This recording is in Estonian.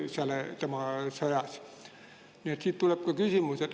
Sellest tuleb ka minu küsimus.